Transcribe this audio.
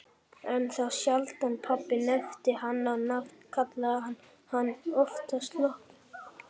En þá sjaldan pabbi nefndi hana á nafn, kallaði hann hana oftast Lobbu.